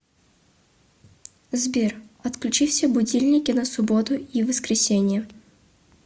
сбер отключи все будильники на субботу и воскресенье